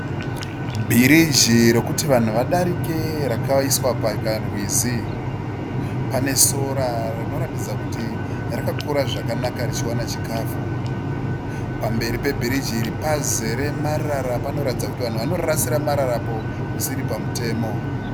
Bhiriji rokuti vanhu vadarike rakaiswa pakarwizi. Pane sora rinoratidza kuti rakakura zvakanaka richiwana chikafu. Pamberi pebhiriji iri pazere marara. Panoratidza kuti vanhu vanorasira mararapo zvisiri pamutemo.